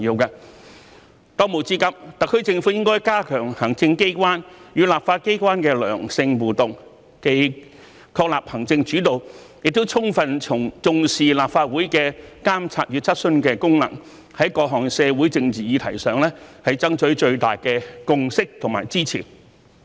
當務之急，特區政府應加強行政機關與立法機關的良性互動，既確立行政主導，亦充分重視立法會的監察與質詢的功能，在各項社會政治議題上，爭取最大的共識和支持。